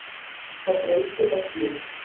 Það breytti öllu.